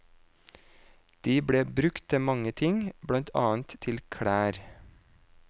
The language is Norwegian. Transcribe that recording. De ble brukt til mange ting, blant annet til klær.